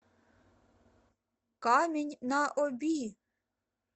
камень на оби